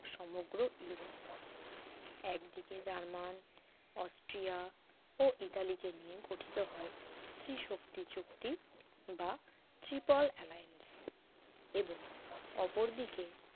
সমগ্র ইউরোপ একদিকে German Austria ও ইতালিকে নিয়ে গঠিত হয় অপরদিকে ইংল্যান্ড ফ্রান্স রাশিয়াকে নিয়ে গঠিত হয় ত্রিশক্তি চুক্তি বা triple alliance এবং অপরদিকে